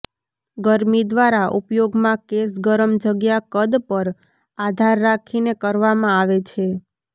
ગરમી દ્વારા ઉપયોગમાં કેશ ગરમ જગ્યા કદ પર આધાર રાખીને કરવામાં આવે છે